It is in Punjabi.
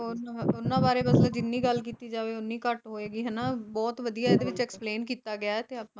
ਓਹਨ ਉਹਨਾਂ ਬਾਰੇ ਬਸ ਜਿੰਨੀ ਗੱਲ ਕੀਤੀ ਜਾਵੇ ਉਹਨੀ ਘੱਟ ਹੋਏਗੀ ਹਨਾ ਬਹੁਤ ਵਧੀਆ ਇਹਦੇ ਵਿੱਚ explain ਕੀਤਾ ਗਿਆ ਆ